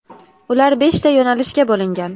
Ular beshta yo‘nalishga bo‘lingan.